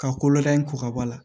Ka kolo da in kɔkɔ bɔ a la